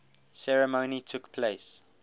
ceremony took place